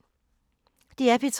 DR P3